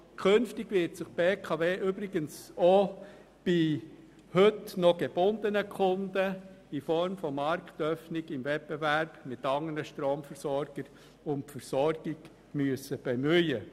Künftig wird sich übrigens die BKW auch bei heute noch gebundenen Kunden in Form einer Marktöffnung im Wettbewerb mit anderen Stromversorgern um die Versorgung bemühen müssen.